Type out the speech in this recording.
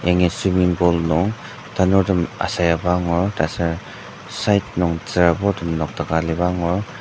yangi swiming pool nung nung tanurtem asayaba angur taser side nung tsüraburtem nokdaka aliba angur.